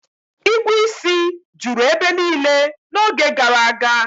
Igwu isi juru ebe niile n'oge gara aga